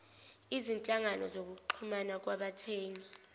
izinhlangano zokuxhumana kwabathengi